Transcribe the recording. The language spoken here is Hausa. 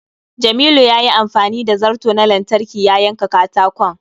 Jamilu yayi amfani da zarto na lantarki ya yanka katakon.